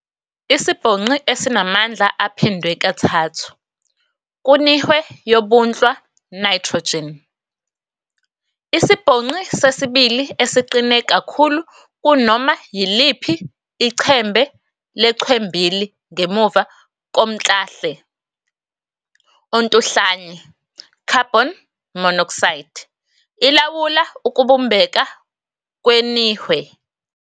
Isibhonqi esinamandla aphindwe kathathu kunihwe yobunhlwa, nitrogen, isibhonqi sesibili esiqine kakhulu kunoma yiliphi ichembe lechwembili ngemuva komclahle ontuhlanye, "carbon monoxide", ilawula ukubumbeka kwenihwe.